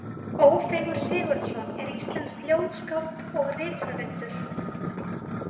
Ófeigur Sigurðsson er íslenskt ljóðskáld og rithöfundur.